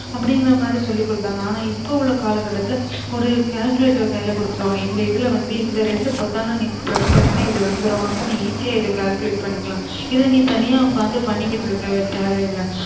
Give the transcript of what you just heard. அப்ப்டிங்ற மாரி சொல்லி கொடுத்தாங்க ஆனா இப்ப உள்ள காலகாட்டதுல ஒரு calculator அ கைல குடுத்துருவாங்க இந்த இதுல வந்து இந்த ரெண்டு பொத்தான நீ press பண்ணீனா இது வந்துரும் அப்ப நீ easy ஆ இத நீ calculate பண்ண்ணிக்கலாம் இத நீ தனியா ஒக்காந்து பண்ணிகிட்டு இருக்க தேவயில்ல